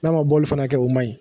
N'a ma boli fana kɛ, o man ɲi.